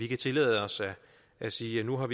kan tillade os at sige at nu har